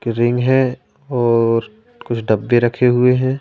Ring है और कुछ डब्बे रखे हुए हैं।